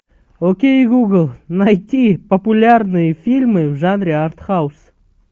окей гугл найти популярные фильмы в жанре артхаус